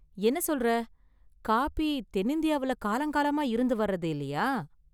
என்ன சொல்ற! காபி தென்னிந்தியாவுல காலங்காலமா இருந்துவரது, இல்லையா?